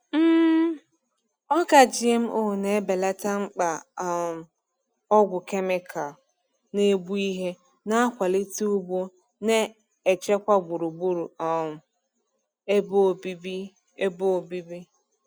um Ọka GMO na-ebelata mkpa um ọgwụ kemịkalụ na-egbu ihe, na-akwalite ugbo na-echekwa gburugburu um ebe obibi. ebe obibi.